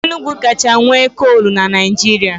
Enugu kacha nwe kolu n'Naijiria